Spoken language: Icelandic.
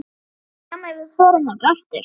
Væri þér sama ef við förum þangað aftur?